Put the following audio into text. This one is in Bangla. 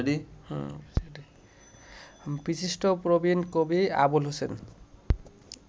বিশিষ্ট প্রবীণ কবি আবুল হোসেন